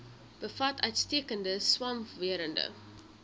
bevat uitstekende swamwerende